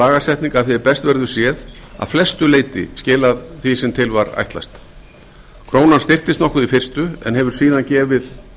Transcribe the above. lagasetning að því er best verður séð að flestu leyti skilað því sem til var ætlast krónan styrktist nokkuð í fyrstu en hefur síðan gefið